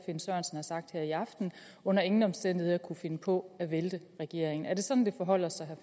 sagt her i aften under ingen omstændigheder kunne finde på at vælte regeringen er det sådan det forholder sig